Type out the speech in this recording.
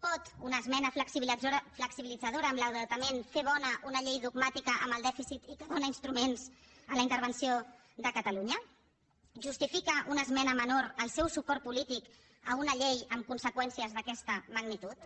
pot una esmena flexibilitzadora en l’endeutament fer bona una llei dogmàtica amb el dèficit i que dóna instruments a la intervenció de catalunya justifica una esmena menor el seu suport polític a una llei amb conseqüències d’aquesta magnitud